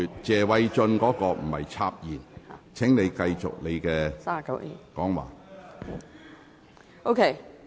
謝偉俊議員不是插言，請你繼續發言。